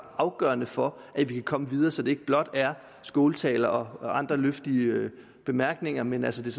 afgørende for at vi kan komme videre så det ikke blot er skåltaler og andre vidtløftige bemærkninger men at det